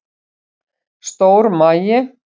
Stór magi